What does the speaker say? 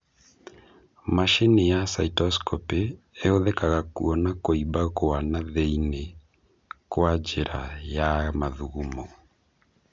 Macini ya Cystoscopy ĩhũthĩkaga kuona kũimba gwa thĩiniĩ kwa njĩra ya mathugumo